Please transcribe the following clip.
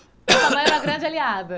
Sua mãe era a grande aliada.